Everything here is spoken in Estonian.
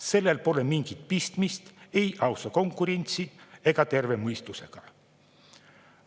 Sellel pole mingit pistmist ei ausa konkurentsi ega terve mõistusega.